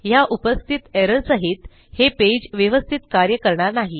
ह्या उपस्थित एरर सहित हे पेज व्यवस्थित कार्य करणार नाही